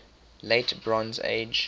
late bronze age